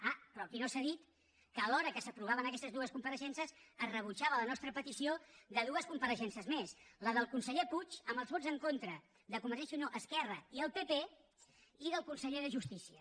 ah però aquí no s’ha dit que alhora que s’aprovaven aquestes dues compareixences es rebutjava la nostra petició de dues compareixences més la del conseller puig amb els vots en contra de convergència i unió esquerra i el pp i la del conseller de justícia